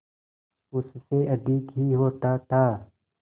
उससे अधिक ही होता था